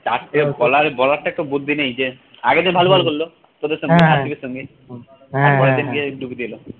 চারঠে bowler টার একটু বুদ্ধি নেই যে আরেকজন ভালো ball করল